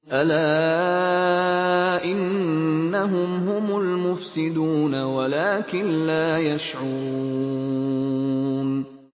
أَلَا إِنَّهُمْ هُمُ الْمُفْسِدُونَ وَلَٰكِن لَّا يَشْعُرُونَ